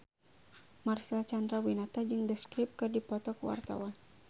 Marcel Chandrawinata jeung The Script keur dipoto ku wartawan